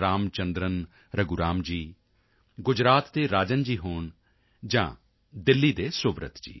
ਰਾਮ ਚੰਦਰਨ ਰਘੂਰਾਮ ਜੀ ਗੁਜਰਾਤ ਦੇ ਰਾਜਨ ਜੀ ਹੋਣ ਜਾਂ ਦਿੱਲੀ ਦੇ ਸੁਬ੍ਰਤ ਜੀ